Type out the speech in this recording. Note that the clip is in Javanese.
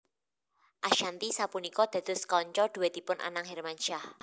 Ashanty sapunika dados kanca dhuètipun Anang Hermansyah